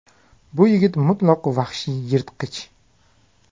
Bu yigit mutlaq vahshiy yirtqich.